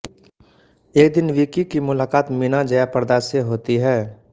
एक दिन विक्की की मुलाक़ात मीना जयाप्रदा से होती है